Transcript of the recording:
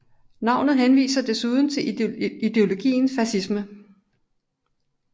Navnet henviser desuden til ideologien fascisme